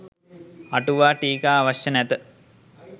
අටුවා ටීකා අවශ්‍ය නැත